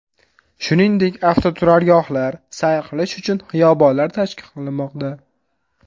Shuningdek, avtoturargohlar, sayr qilish uchun xiyobonlar tashkil qilinmoqda.